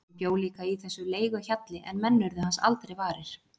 Hann bjó líka í þessum leiguhjalli en menn urðu hans aldrei varir.